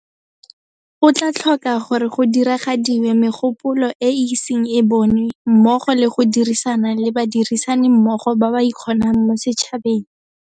Go tla tlhoka gore go diragadiwe megopolo e e iseng e bonwe mmogo le go dirisana le badirisanimmogo ba ba ikgonang mo setšhabeng.